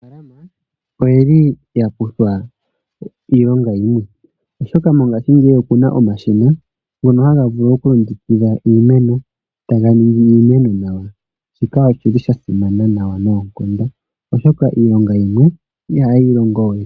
Aanafaalama oyeli yakutha iilonga yimwe , oshoka mongashingeyi opuna omashina ngono haga vulu okulongekidha iimeno, taga ningi iimeno nawa . Shika oshili shasimana nayi noonkondo, oshoka iilonga yimwe ihayeyi longo we.